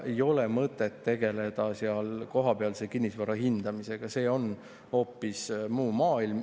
Ei ole mõtet tegeleda seal kohapealse kinnisvara hindamisega, see on hoopis muu maailm.